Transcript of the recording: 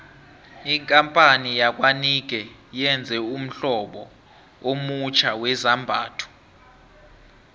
ikampani yakwanike yenze ummhlobo omutjha wezambhatho